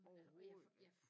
Overhovedet ikke